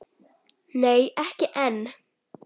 Nei, ekki enn.